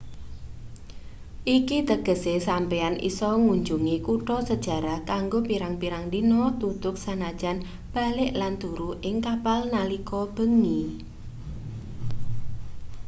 iki tegese sampeyan isa ngunjungi kutha sejarah kanggo pirang-pirang dina tutug sanajan balik lan turu ing kapal nalika bengi